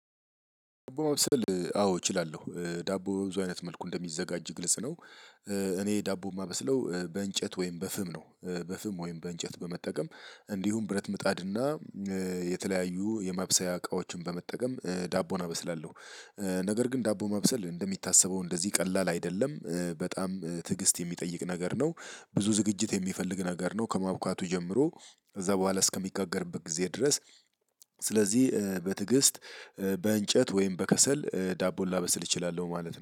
ዳቦ ማብሰል አዎ እችላለሁ ዳቦ ብዙ አይነት መልኩ እንደሚዘጋጅ ግልጽ ነው። እኔ ዳቦ የማበስለው በእንጨት ወይም በፍም ነው በፍም ወይም በእንጨት በመጠቀም እንዲሁም ብረት ምጣድና የተለያዩ የማብሰያ እቃዎችን በመጠቀም ዳቦን አበስላለሁ። ነገር ግን ዳቦ ማብሰል እንደሚታሰበው እንደዚህ ቀላል አይደለም በጣም ትዕግስት የሚጠይቅ ነገር ነው። ብዙ ዝግጅት የሚፈልግ ነገር ነው ከማብካቱ ጀምሮ። ከዛ በኋላ እስከሚጋገርበት ጊዜ ድረስ። ስለዚህ በትዕግስት በእንጨት ወይም በከሰል ዳቦን ላበስል እችላለሁ ማለት ነው